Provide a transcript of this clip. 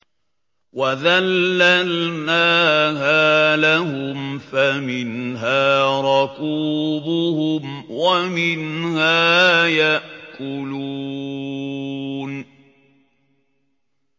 وَذَلَّلْنَاهَا لَهُمْ فَمِنْهَا رَكُوبُهُمْ وَمِنْهَا يَأْكُلُونَ